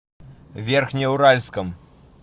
верхнеуральском